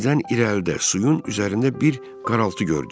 Birdən irəlidə suyun üzərində bir qaraltı gördük.